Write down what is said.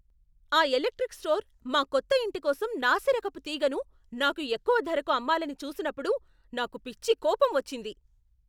ఆ electric store మా కొత్త ఇంటి కోసం నాసిరకపు తీగను నాకు ఎక్కువ ధరకు అమ్మాలని చూసినప్పుడు నాకు పిచ్చి కోపం వచ్చింది.